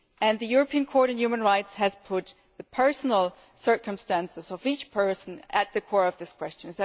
The European Court of Human Rights has put the personal circumstances of each person at the core of this question.